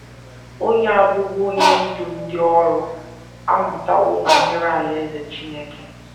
Onye a bụbu onye ndú ndị ọrụ amụtawo banyere Alaeze Chineke.